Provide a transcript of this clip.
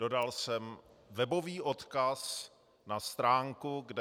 Dodal jsem webový odkaz na stránku, kde